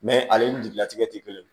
ale ni jigilatigɛ tɛ kelen ye